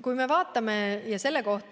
Kui vaatame neid nakatumise